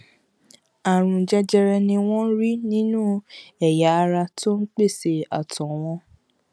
àrùn jẹjẹrẹ ni wọn rí nínú ẹyà ara tó ń pèsè àtọ wọn